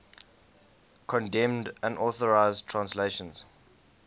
condemned unauthorized translations